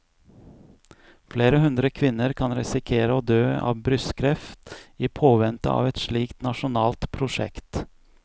Flere hundre kvinner kan risikere å dø av brystkreft i påvente av et slikt nasjonalt prosjekt.